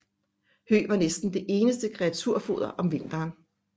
Hø var næsten det eneste kreaturfoder om vinteren